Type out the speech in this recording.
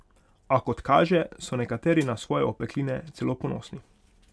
A kot kaže, so nekateri na svoje opekline celo ponosni.